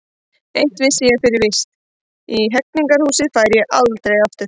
Eitt vissi ég fyrir víst: í Hegningarhúsið færi ég aldrei aftur.